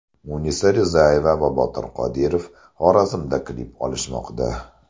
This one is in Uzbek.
Munisa Rizayeva va Botir Qodirov Xorazmda klip olishmoqda.